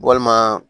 Walima